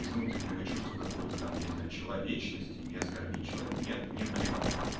из внутреннего чувства какого-то там я не знаю человечности не оскорбить человека нет мне плевать